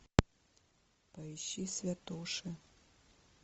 поищи святоши